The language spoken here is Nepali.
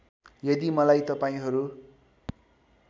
यदि मलाई तपाईँहरू